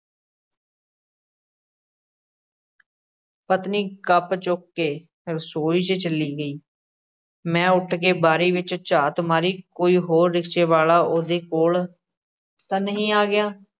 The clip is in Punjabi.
ਪਤਨੀ ਕੱਪ ਚੁੱਕ ਕੇ ਰਸੋਈ 'ਚ ਚਲੀ ਗਈ, ਮੈਂ ਉੱਠ ਕੇ ਬਾਰੀ ਵਿੱਚ ਝਾਤ ਮਾਰੀ ਕੋਈ ਹੋਰ ਰਿਕਸ਼ੇ ਵਾਲ਼ਾ ਉਹਦੇ ਕੋਲ਼ ਤਾਂ ਨਹੀਂ ਆ ਗਿਆ।